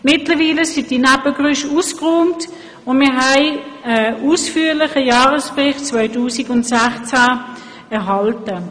Mittlerweile sind diese Nebengeräusche ausgeräumt, und wir haben einen ausführlichen Jahresbericht 2016 erhalten.